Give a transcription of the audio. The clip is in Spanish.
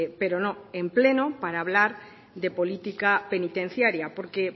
pero no en pleno para hablar de política penitenciaria porque